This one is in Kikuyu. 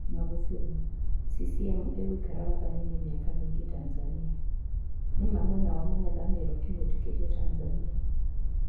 Magufuli:CCM igũikara wathaninĩ miaka mingĩ Tanzania, Nĩ ma mwena wa mũngethũrano tĩmwĩtĩkirie Tanzania?